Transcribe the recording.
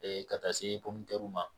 ka taa se ma